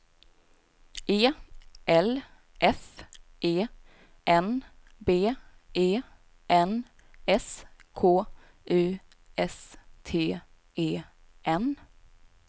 E L F E N B E N S K U S T E N